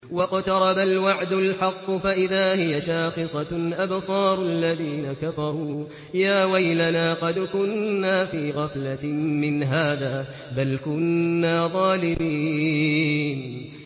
وَاقْتَرَبَ الْوَعْدُ الْحَقُّ فَإِذَا هِيَ شَاخِصَةٌ أَبْصَارُ الَّذِينَ كَفَرُوا يَا وَيْلَنَا قَدْ كُنَّا فِي غَفْلَةٍ مِّنْ هَٰذَا بَلْ كُنَّا ظَالِمِينَ